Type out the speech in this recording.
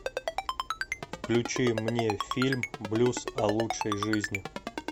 включи мне фильм блюз о лучшей жизни